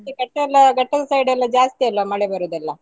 ಮತ್ತೆ ಘಟ್ಟ ಎಲ್ಲ ಘಟ್ಟದ side ಎಲ್ಲ ಜಾಸ್ತಿ ಅಲ್ಲ ಮಳೆ ಬರುದೆಲ್ಲ.